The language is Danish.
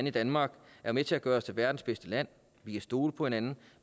i danmark er med til at gøre os til verdens bedste land vi kan stole på hinanden